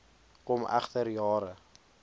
kom egter jare